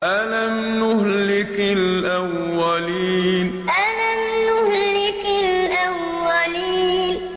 أَلَمْ نُهْلِكِ الْأَوَّلِينَ أَلَمْ نُهْلِكِ الْأَوَّلِينَ